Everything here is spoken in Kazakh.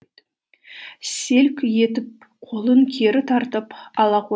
селк етіп қолын кері тартып ала